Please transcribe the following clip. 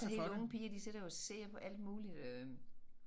Helt unge piger de sidder jo og ser på alt muligt øh